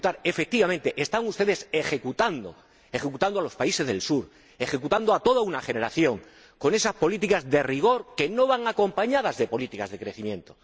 Pues, efectivamente, están ustedes ejecutando ejecutando a los países del Sur, ejecutando a toda una generación con esas políticas de rigor que no van acompañadas de políticas de crecimiento.